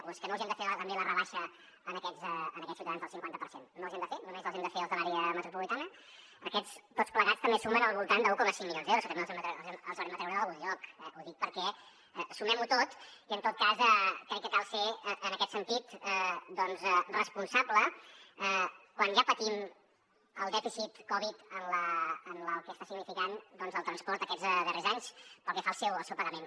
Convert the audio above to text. o és que no els hi hem de fer també la rebaixa a aquests ciutadans del cinquanta per cent no els hi hem de fer només els hi hem de fer els de l’àrea metropolitana aquests tots plegats també sumen al voltant d’un coma cinc milions d’euros que també els haurem de treure d’algun lloc eh ho dic perquè sumem ho tot i en tot cas crec que cal ser en aquest sentit doncs responsable quan ja patim el dèficit covid amb el que està significant doncs al transport aquests darrers anys pel que fa al seu pagament